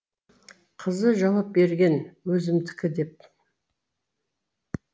қызы жауап берген өзімдікі деп